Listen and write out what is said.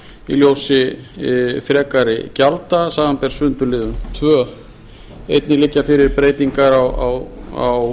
í ljósi frekari gjalda samanber sundurliðun annars einnig liggja fyrir breytingar á